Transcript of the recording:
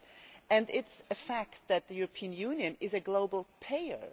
It is a fact that the European Union is a global player.